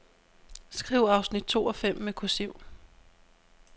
Skriv afsnit to og fem med kursiv.